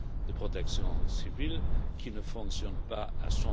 de protection civile, qui ne fonctionnent pas à